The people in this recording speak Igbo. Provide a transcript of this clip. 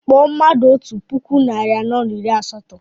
Kpọọ mmadụ otú puku narị anọ na iri asatọ!